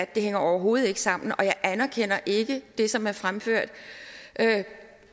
det hænger overhovedet ikke sammen og jeg anerkender ikke det som er fremført